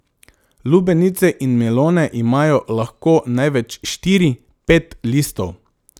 Lubenice in melone imajo lahko največ štiri, pet listov.